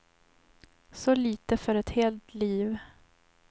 Så lite för ett helt liv.